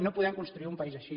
no podem construir un país així